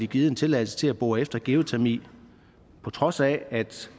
give en tilladelse til at bore efter geotermi på trods af at